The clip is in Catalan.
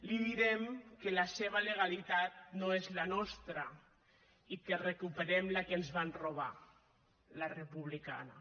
li direm que la seva legalitat no és la nostra i que recuperem la que ens van robar la republicana